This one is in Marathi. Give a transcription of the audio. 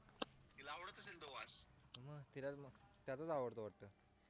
तिला त्याचाच आवडतो वाटतो